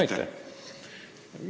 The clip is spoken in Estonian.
Aitäh!